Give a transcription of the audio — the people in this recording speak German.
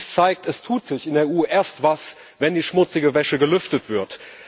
Dies zeigt, es tut sich in der EU erst was, wenn die schmutzige Wäsche gelüftet wird.